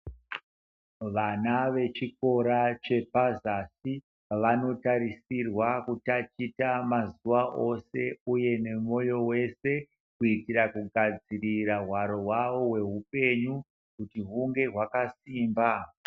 Vana vechikora chepazasi, vanotarisirwa kutaticha mazuwa ose uye nemoyo wese kuitira kugadzirira hwaro hwawo hwehupenyu kuti hunge hwakasimba.